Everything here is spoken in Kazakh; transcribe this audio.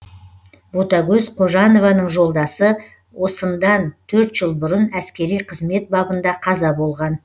ботагөз қожанованың жолдасы осындан төрт жыл бұрын әскери қызмет бабында қаза болған